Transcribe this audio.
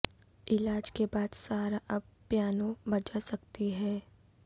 علاج کے بعد سارہ اب پیانو بجا سکتی ہیں